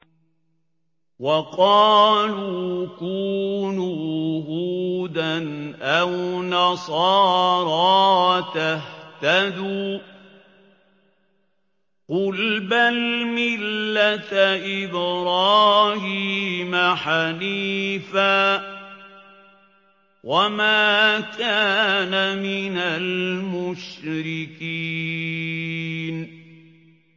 وَقَالُوا كُونُوا هُودًا أَوْ نَصَارَىٰ تَهْتَدُوا ۗ قُلْ بَلْ مِلَّةَ إِبْرَاهِيمَ حَنِيفًا ۖ وَمَا كَانَ مِنَ الْمُشْرِكِينَ